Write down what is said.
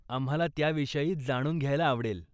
आम्हाला त्याविषयी जाणून घ्यायला आवडेल.